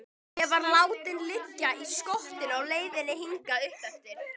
Ég var látinn liggja í skottinu á leiðinni hingað uppeftir.